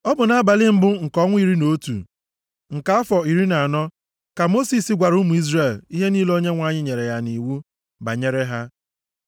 Ọ bụ nʼabalị mbụ nke ọnwa iri na otu, nke afọ iri anọ ka Mosis gwara ụmụ Izrel ihe niile Onyenwe anyị nyere ya nʼiwu banyere ha.